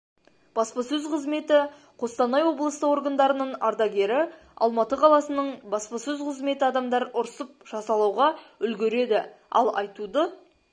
баспасөз қызметі қостанай облысы органдарының ардагері алматы қаласының баспасөз қызметі адамдар ұрсып жазалауға үлгереді ал айтуды